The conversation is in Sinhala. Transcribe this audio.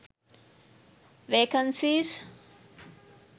vacancies